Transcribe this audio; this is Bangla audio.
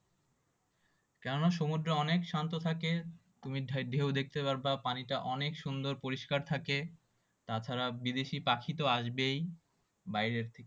কেননা সমুদ্র অনেক শান্ত থাকে তুমি ঢে~ঢেউ দেখতে পারবা পানিটা অনেক সুন্দর পরিষ্কার থাকে তাছাড়া বিদেশি পাখিতে আসবেই বাইরের থেকে